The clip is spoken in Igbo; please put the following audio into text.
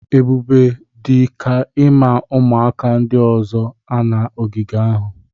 Ebube dị ka ime ụmụaka ndị ọzọ nọ na ogige ahụ